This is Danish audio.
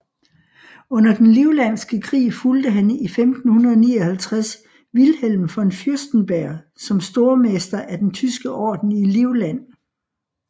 Under den livlandske krig fulgte han i 1559 Wilhelm von Fürstenberg som stormester af den Tyske Orden i Livland